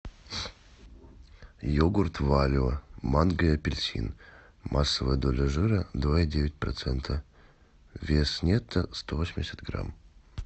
йогурт валио манго и апельсин массовая доля жира два и девять процента вес нетто сто восемьдесят грамм